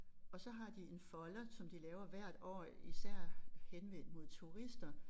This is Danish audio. Og så har de en folder som de laver hvert år især henvendt mod turister